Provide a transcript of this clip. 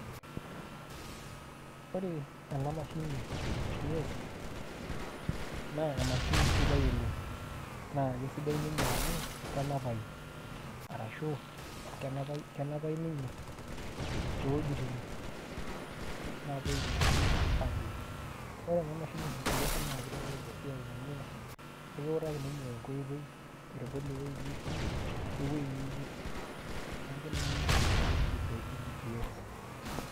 ore ena mashini e GPS naa emashini sidai oleng. naa kisidai ninye amu kenapayu arashu kenapayu ninye too wuejitin naapuoi iwuejitin aatur. ore ena mahini e GPS naa kitelelk esiai amu ekiutaki ninye enkoitoi aitodol ewuei nitii.we wuei niyieu nilo. neeku ninye oshi esidano e GPS.